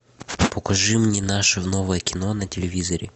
покажи мне наше новое кино на телевизоре